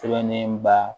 Sɛbɛnnen ba